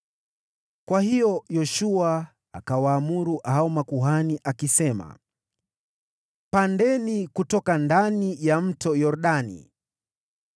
Kwa hiyo Yoshua akawaamuru hao makuhani akisema, “Pandeni kutoka ndani ya Mto Yordani.”